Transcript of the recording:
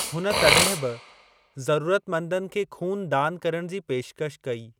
हुन तॾहिं बि ज़रूरतमंदनि खे खून दान करण जी पेशकश कई।